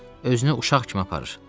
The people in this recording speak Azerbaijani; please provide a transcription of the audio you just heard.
Özünü uşaq kimi aparır.